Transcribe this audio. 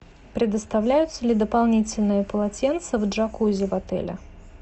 предоставляются ли дополнительные полотенца в джакузи в отеле